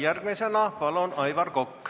Järgmisena palun, Aivar Kokk.